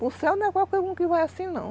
Para o céu não é qualquer um que vai assim, não.